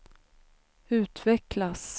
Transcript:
utvecklas